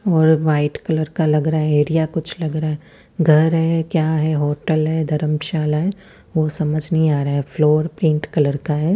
और white colour का लग रहा है एरिया कुछ लग रहा है घर है क्या है होटल है धरमशाला है वो समझ नहीं आ रहा है फ्लोर पिंक कलर का है।